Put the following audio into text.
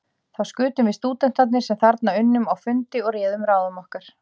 Þá skutum við stúdentarnir, sem þarna unnum, á fundi og réðum ráðum okkar.